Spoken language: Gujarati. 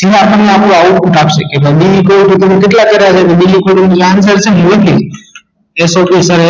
જેમાં આપડે આપડું output નાખીએ કે ભઇ બિલી કવ તો તમે okayassocation